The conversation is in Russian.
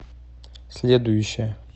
следующая